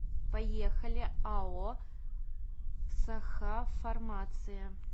поехали ао сахафармация